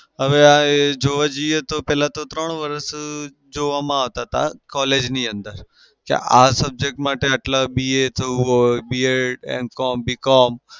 હવે આ એ જોવા જઈએ તો પેલા ત્રણ વરસ જોવામાં આવતા હતા collage ની અંદર કે આ subject માટે BA થાઉં હોય B ed M com B com